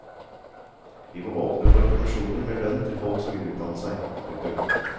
Vi må åpne for permisjoner med lønn til folk som vil utdanne seg. punktum